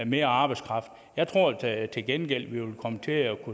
mere arbejdskraft tror jeg til gengæld vi vil komme til at